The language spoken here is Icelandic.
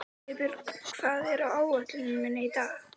Ég skrifaði það allt sjálfur, sagði Gunni hróðugur.